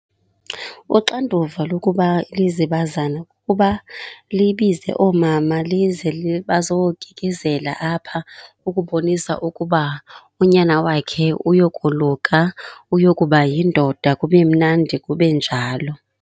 Uxanduva lokuba lizibazana kukuba libize oomama lize bazokikizela apha ukubonisa ukuba unyana wakhe uyokoluka, uyokuba yindoda. Kube mnandi kube njalo.